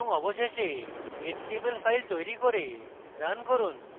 অবশেষে html file তৈরী করে রান করুন